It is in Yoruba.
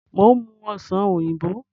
Mo ń mú Ọ̀sán oyinbo